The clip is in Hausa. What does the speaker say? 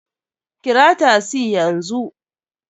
Kira tasi yanzu!